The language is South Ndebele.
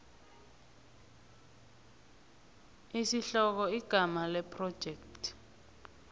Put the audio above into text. isihloko igama lephrojekthi